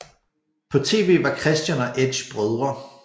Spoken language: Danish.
På tv var Christian og Edge brødre